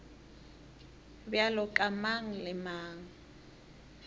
bjalo ka mang le mang